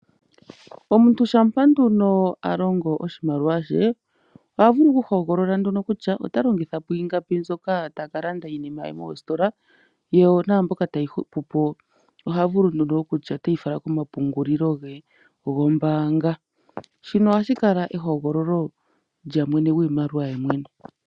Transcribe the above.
Omuntu shampa nduno a longo oshimaliwa she. Oha vulu oku hogolola nduno kutya ota longitha po ingapi mbyoka taka landa iinima ye mositola. Yo naambyoka tayi hupu po oha vulu nduno okutya oteyi fala gomapungulilo ge gombaanga. Shino ohashi kala ehogololo lye lyiimaliwa ye yemwene.